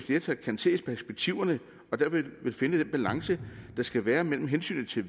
flertal kan se perspektiverne og dermed finde den balance der skal være mellem hensynet til